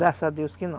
Graças a Deus que não.